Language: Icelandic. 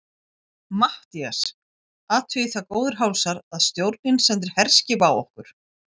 MATTHÍAS: Athugið það, góðir hálsar, að stjórnin sendir herskip á okkur!